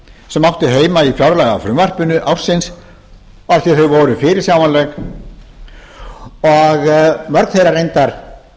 sem áttu heima í fjárlagafrumvarpi ársins af því að þau voru fyrirsjáanleg mörg þeirra voru reyndar